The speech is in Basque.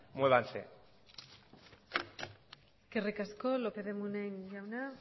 muévanse eskerrik asko lópez de munain jauna